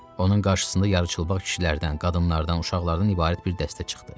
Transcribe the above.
Onun qarşısında yarıçılpaq kişilərdən, qadınlardan, uşaqlardan ibarət bir dəstə çıxdı.